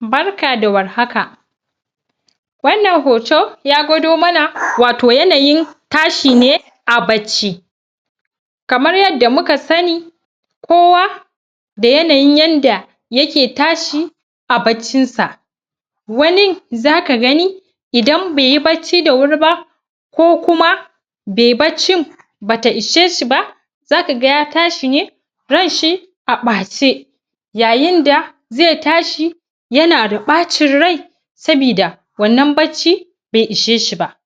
barka da warhaka wannan hoto ya gwado mana yayin tashi ne a bacci kamar yadda muka sani ko wa da yanyin da yanayin yadda yake tashi a baccin sa wani zaka gani idan baiyi bacci da wuri ba ko kuma bai baccin bata isheshi ba zaka ga ya tashi ne ranshi a bace yayin da zai tashi yana da bacin rai saboda wannan bacci bai isa ce ba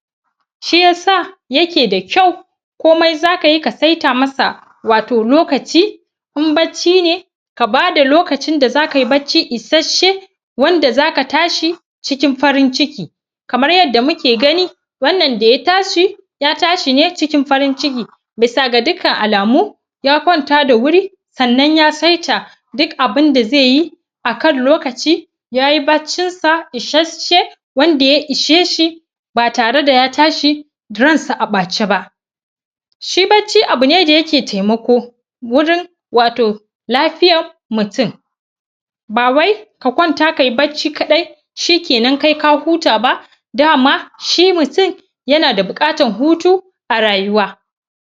shi yasa yake da kyau komai zaka yi ka sai ta masa wato lokaci in bacci ne ba bada lokacin za kayi bacci isashe wanda zaka tashi cikin farin ciki kamar yadda muke gani wannan da ya tashi ya tashi ne cikin farin ciki bisa ga dukkan alamu ya kwanta da wuri sannan ya saita duk abunda zaiyi akan lokaci yayi baccin sa isashe wanda ya iseshi ba tare da ya tashi ransa a bace ba shi bacci abune wanda yake temako wajen wato lafiyar mutum ba wai ka kwanta kayi bacci kawai shikenan kai ka huta ba dama shi mutum yana da bukatar hutu a rayuwa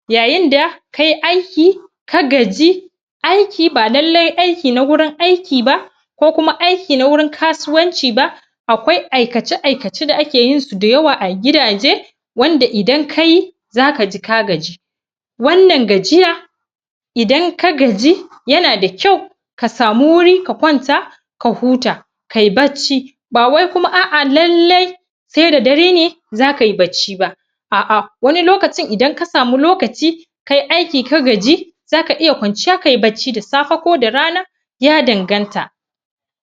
yayin da kayi aiki ka gaji aiki ba lalle aiki na gurin aiki ba ko kuma aiki na wurin kasuwanci ba akwai aikace aikace da yawa da akeyin su a gidaje wanda idan kayi zaka ji kagaji wannan gajiya idan ka gaji yana da kyau kasamu wuri ka kwanta ka huta kayi bacci ba wai kuma a a lalle sai da dare ne zakayi bacci ba a a wani lokacin idan kasamu lokaci kayi aiki ka gaji zaka iya kwanciya kayi bacci da safe ko da rana ya danganta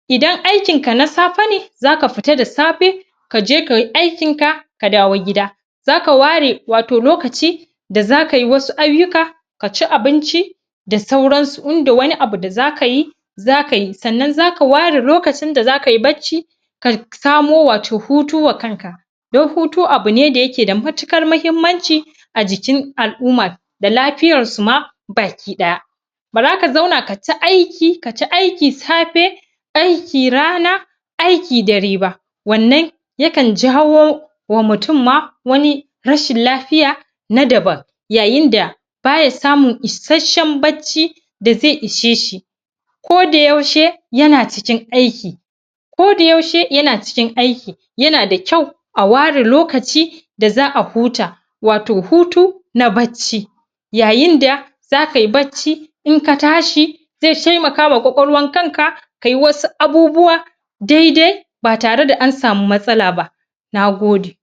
idan aikin ka na safe ne zaka fita da safe kaje kayi aikin ka ka dawo gida zaka ware wato lokaci da zakayi wasu ayyuka kaci abinci da sauransu in da wani abu da zakayi zakayi sannan zaka ware lokacin da zakayi bacci ka samo hutu wa kanka don hutu abune wanda ke da matukar muhimmanci ajikin al'umma da lafiyarsu ma baki daya ba zaka kata aiki kata aiki safe aiki rana aiki dare ba wannan jawo wa mutum ma wani rashin lafiya na daban yayin da baya samun isashen da zai ishe shi ko da yaushe yana cikin aiki ko da yaushe yana cikin aiki yana da kyau aware lokaci da za'a huta wato hutu na bacci yayin da zaka yi bacci in katashi zai temakawa wa kwakwalwan kanka kayi wasu abubuwa daidai ba tare da amsamu matasalaba nagode